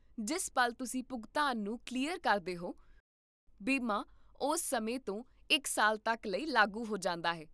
ਜਿਸ ਪਲ ਤੁਸੀਂ ਭੁਗਤਾਨ ਨੂੰ ਕਲੀਅਰ ਕਰਦੇ ਹੋ, ਬੀਮਾ ਉਸ ਸਮੇਂ ਤੋਂ ਇੱਕ ਸਾਲ ਤੱਕ ਲਈ ਲਾਗੂ ਹੋ ਜਾਂਦਾ ਹੈ